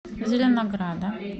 зеленограда